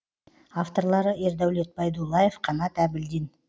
авторлары ердәулет байдуллаев қанат әбілдин